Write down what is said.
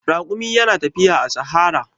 Raƙumi yana tafiya a sahara.